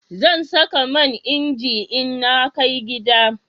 Zan saka man inji in na kai gida